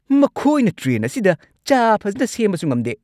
ꯃꯈꯣꯏꯅ ꯇ꯭ꯔꯦꯟ ꯑꯁꯤꯗ ꯆꯥ ꯐꯖꯅ ꯁꯦꯝꯕꯁꯨ ꯉꯝꯗꯦ!